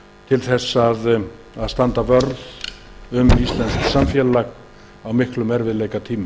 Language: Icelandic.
til þess að standa vörð um íslenskt samfélag á miklum erfiðleikatímum